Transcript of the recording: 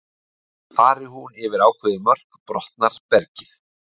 Fari hún yfir ákveðin mörk brotnar bergið.